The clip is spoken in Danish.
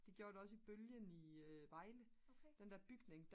de gjorde det også i bølgen i Vejle den der bygning